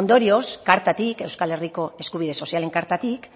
ondorioz kartatik euskal herriko eskubide sozialen kartatik